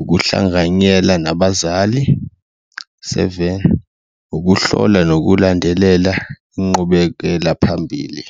ukuhlanganyela nabazali, seven, ukuhlola nokulandelela inqubekela phambili.